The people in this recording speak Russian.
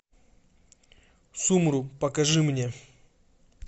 сумру покажи мне